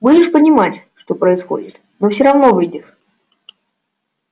будешь понимать что происходит но всё равно выйдешь